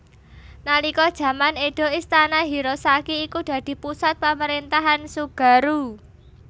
Nalika jaman Edo Istana Hirosaki iku dadi pusat pamrentahan Tsugaru